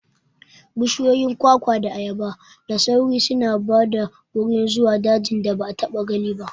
Bishiyoyin kwakwa da ayaba da sauri suna ba da wuri zuwa dajin da ba a taɓa gani ba.